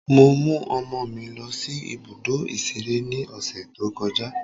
Mo mú ọmọ mi lọ sí ibùdó ìṣeré ní ọ̀sẹ̀ tó kọjá.